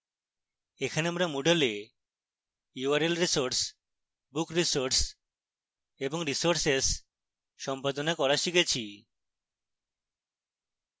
এখানে আমরা moodle we url resource book resource এবং resources সম্পাদনা করা শিখেছি